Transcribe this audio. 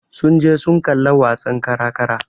Sun je sun kalla wasan kara-kara.